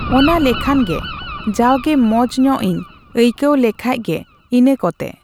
ᱚᱱᱟ ᱞᱮᱠᱷᱟᱱ ᱜᱮ ᱡᱟᱜᱜᱮ ᱢᱚᱸᱡ ᱧᱚᱜ ᱤᱧ ᱟᱹᱭᱠᱟᱹᱣ ᱞᱮᱠᱷᱟᱡ ᱜᱮ ᱤᱱᱟᱹ ᱠᱚᱛᱮ᱾